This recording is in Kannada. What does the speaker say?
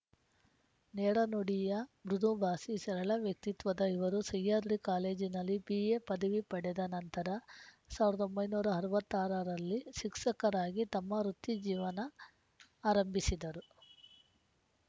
ನೇರ ನುಡಿಯ ಮೃದು ಭಾಸಿ ಸರಳ ವ್ಯಕ್ತಿತ್ವದ ಇವರು ಸಿಹ್ಯಾದ್ರಿ ಕಾಲೇಜಿನಲ್ಲಿ ಬಿಎಪದವಿ ಪಡೆದ ನಂತರ ಸಾವಿರದ ಒಂಬೈನೂರ ಅರವತ್ತ್ ಆರರಲ್ಲಿ ಸಿಕ್ಸಕರಾಗಿ ತಮ್ಮ ವೃತ್ತಿ ಜೀವನ ಆರಂಭಿಸಿದರು